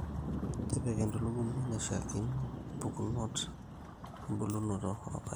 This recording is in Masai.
tipika entulugumi naishiaakino empukunot embulunoto oorpaek